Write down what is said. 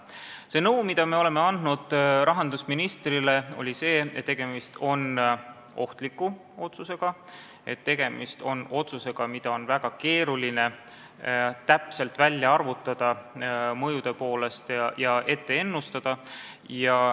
Nõu, mida me andsime rahandusministrile, oli see, et tegemist on ohtliku otsusega, tegemist on otsusega, mille mõju on väga keeruline täpselt välja arvutada ja ennustada.